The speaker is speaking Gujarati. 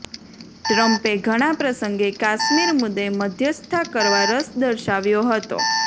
ટ્રમ્પે ઘણા પ્રસંગે કાશ્મીર મુદ્દે મધ્યસ્થતા કરવા રસ દર્શાવ્યો હતો